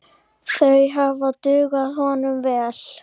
Þeir hefðu dugað honum vel.